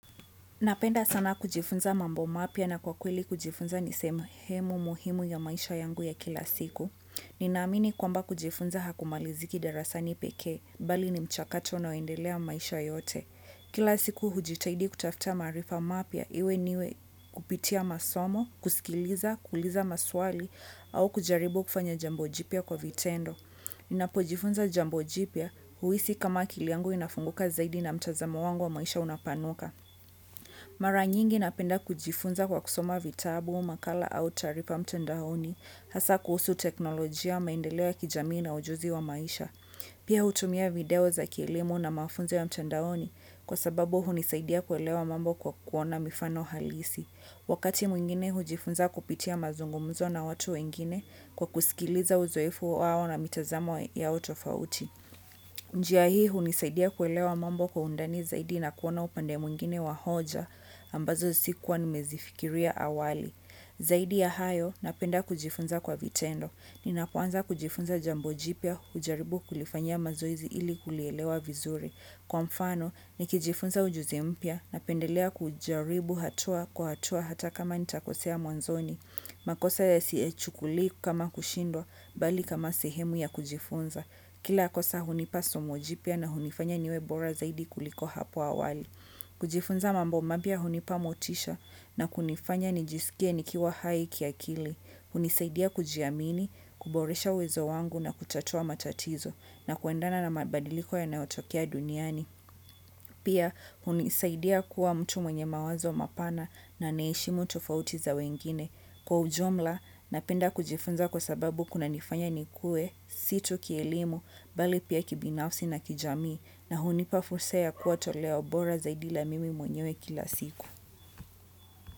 Napenda sana kujifunza mambo mapya na kwa kweli kujifunza ni sehemu muhimu ya maisha yangu ya kila siku. Ninaamini kwamba kujifunza hakumaliziki darasani pekee bali ni mchakato unaoendelea maisha yote. Kila siku hujitahidi kutafuta marifa mapya iwe niwe kupitia masomo, kusikiliza, kuuliza maswali au kujaribu kufanya jambo jipya kwa vitendo. Ninapo jifunza jambo jipya huhisi kama akili yangu inafunguka zaidi na mtazamo wangu wa maisha unapanuka. Mara nyingi napenda kujifunza kwa kusoma vitabu, makala au taarifa mtandaoni, hasa kuhusu teknolojia, maendeleo ya kijamii na ujuzi wa maisha. Pia hutumia video za kielimu na mafunzo ya mtandaoni kwa sababu hunisaidia kuelewa mambo kwa kuona mifano halisi. Wakati mwingine hujifunza kupitia mazungumzo na watu wengine kwa kusikiliza uzoefu wao na mitazamo yao tofauti. Njia hii hunisaidia kuelewa mambo kwa undani zaidi na kuona upande mwingine wa hoja ambazo sikuwa nimezifikiria awali. Zaidi ya hayo napenda kujifunza kwa vitendo. Ninapoanza kujifunza jambo jipya hujaribu kulifanya mazoezi ili kulielewa vizuri. Kwa mfano, nikijifunza ujuzi mpya napendelea kujaribu hatua kwa hatua hata kama nitakosea mwanzoni. Makosa siyachukulii kama kushindwa bali kama sehemu ya kujifunza. Kila kosa hunipa somo jipya na hunifanya niwe bora zaidi kuliko hapo awali. Kujifunza mambo mapya hunipa motisha na kunifanya nijisikie nikiwa hai kiakili. Hunisaidia kujiamini, kuboresha uwezo wangu na kutatua matatizo na kuendana na mabadiliko yanayotokea duniani. Pia hunisaidia kuwa mtu mwenye mawazo mapana na anaheshimu tofauti za wengine. Kwa ujumla, napenda kujifunza kwa sababu kunanifanya nikue, si tu kielimu, bali pia kibinafsi na kijamii, na hunipa fursa ya kuwa toleo bora zaidi la mimi mwenyewe kila siku.